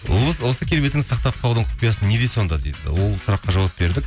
осы келбетіңізді сақтап қалудың құпиясы неде сонда дейді ол сұраққа жауап бердік